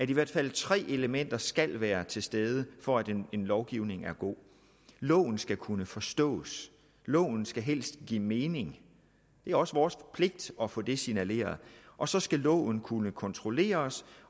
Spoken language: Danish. i hvert fald tre elementer skal være til stede for at en lovgivning er god loven skal kunne forstås loven skal helst give mening det er også vores pligt at få det signaleret og så skal loven kunne kontrolleres